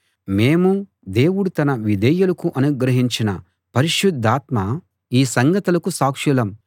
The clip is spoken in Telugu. మేమూ దేవుడు తన విధేయులకు అనుగ్రహించిన పరిశుద్ధాత్మా ఈ సంగతులకు సాక్షులం